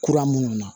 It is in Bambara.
Kura minnu na